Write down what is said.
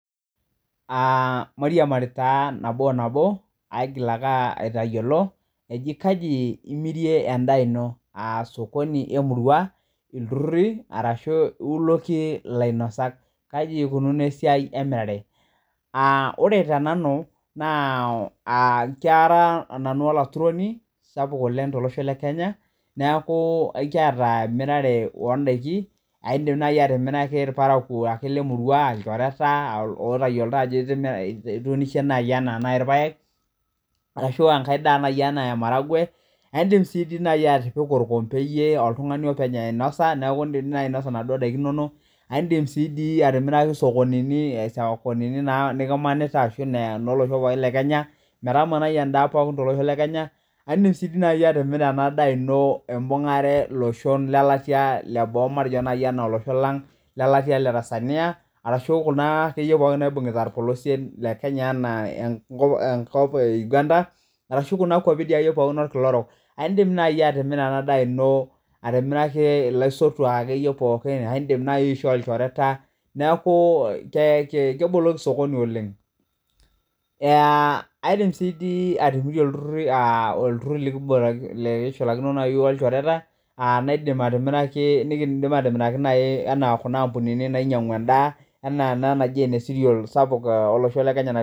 Ore tee nanu naa Kara nanu olaturoni sapuk oleng tolosho lee Kenya neeku edim naaji atimiraki irparakuo lee murua ilchoreta oo tayiolo Ajo etunoshe ena irpaek ena enkae daa ena maharagwe edim naaji atipiku orkompe oltung'ani openy ainosa neeku edim do naaji eyie ainosa enaduo daiki enono edim sii atimiraki esokonini nikimanita ashu enolosho lee Kenya metamanai endaa tolosho pookin lee Kenya edim sii naaji atimira endaa eno ebungare iltung'ana lolosho lelatia enaa olosho lang lee letia lee Tanzania ena kulo akeyienaibungita orpolosie lee Kenya enaa enkop ee Uganda arashu Kuna kwapii orkila orok edim naaji atimira endaa eno atimiraki elaisotuak akeyiee pookin edim naaji atimiraki ilchoreta neeku keboloki sokoni oleng aidim sii atipikie iltururi likishulakino ilchoreta naidim atimiraki ena Kuna ambunini nainyiang'u endaa enaa ena anaji ene cerials olosho sapuk lee kenya